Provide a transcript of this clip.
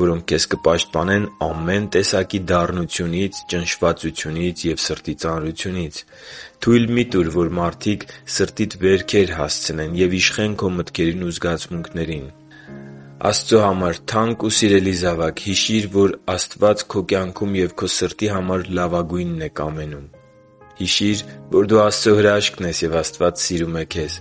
որոնք քեզ կպաշտպանեն ամեն տեսակի դառնությունից, ճնշվածությունից ու սրտի ծանրությունից։ Թույլ մի՛ տուր, որ մարդիկ սրտիդ վերքեր հասցնեն և իշխեն քո մտքերին ու զգացմունքներին։ Աստծո համար թանկ ու սիրելի՛ զավակ, հիշի՛ր, որ Աստված քո կյանքում և քո սրտի համար լավագույնն է կամենում… Հիշի՛ր, որ դու Աստծո հրաշքն ես, և Աստված սիրում է քեզ։